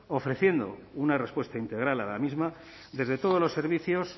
ofreciendo una respuesta integral a la misma desde todos los servicios